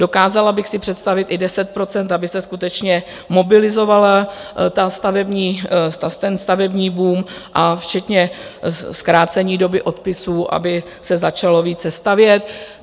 Dokázala bych si představit i 10 %, aby se skutečně mobilizoval ten stavební boom, včetně zkrácení doby odpisů, aby se začalo více stavět.